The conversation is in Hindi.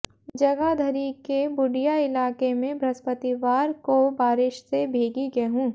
जगाधरी के बूडिया इलाके में बृहस्पतिवार को बारिश से भीगी गेहूं